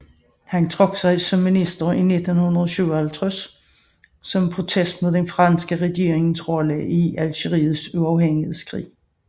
Han trak sig som minister i 1957 som protest mod den franske regerings rolle i Algeriets uafhængighedskrig